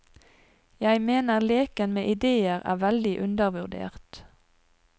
Jeg mener leken med idéer er veldig undervurdert.